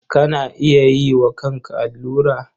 Kana iya yi wa kanka allura?